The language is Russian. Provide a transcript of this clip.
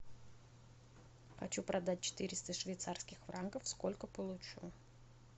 хочу продать четыреста швейцарских франков сколько получу